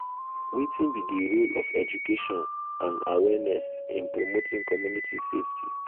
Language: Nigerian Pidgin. wetin be di role of education and awareness in promoting community safety?